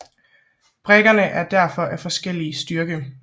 Brikkerne er derfor af forskellig styrke